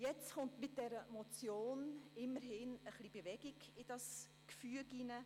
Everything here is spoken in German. Mit der vorliegenden Motion kommt immerhin etwas Bewegung in dieses Gefüge.